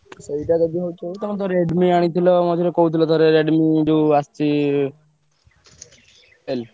ସେଇଟା ଯଦି ହଉଛି ହଉ ତମେ ତ Redmi ଆଣିଥିଲ ମଝିରେ କହୁଥିଲ ଥରେ Redmi ଯୋଉ ଆସଚି ।